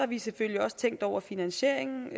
vi selvfølgelig også tænkt over finansieringen